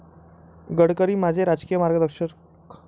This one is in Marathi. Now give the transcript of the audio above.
गडकरी माझे राजकीय मार्गदर्शक'